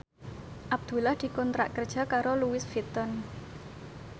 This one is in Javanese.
Abdullah dikontrak kerja karo Louis Vuitton